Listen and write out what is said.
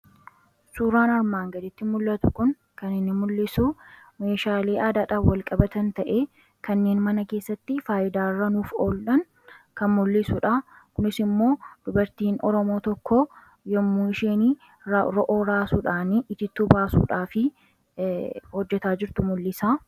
Suuraa kanaa gadii irraa kan inni mul'isu meeshaalee aadaa mana keessaa itti fayyadaman yammuu ta'uu; dubartiin Oromoo tokkos yammuu isheen baaduu raasuun itittuu baasuuuf jettu kan mul'isuu dha.